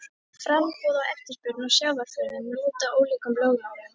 Framboð og eftirspurn á sjávarafurðum lúta ólíkum lögmálum.